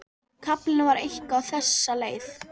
Kaflinn var eitthvað á þessa leið: